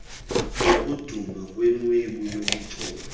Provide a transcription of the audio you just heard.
sokudumba kwenwebu yobuchopho